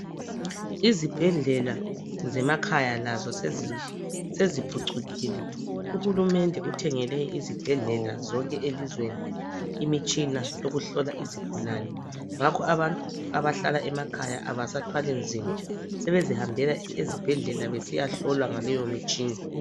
Izibhedlela zemakhaya lazo seziphucukile. Uhulumende uthengele izibhedlela zonke zelizweni imitshina yokuhlola izigulane ngakho abantu abahlala emakhaya abasathwali nzima sebezihambela ezibhedlela besiya hlolwa ngaleyo mitshina